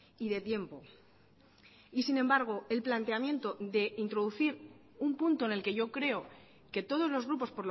y de tiempo y sin embargo el planteamiento de introducir un punto en el que yo creo que todos los grupos